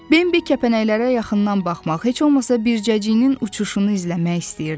Bembi kəpənəklərə yaxından baxmaq, heç olmasa bircəciyinin uçuşunu izləmək istəyirdi.